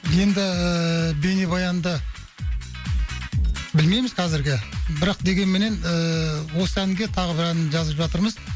енді бейнебаянды білмейміз қазірге бірақ дегенменен ііі осы әнге тағы бір ән жазып жатырмыз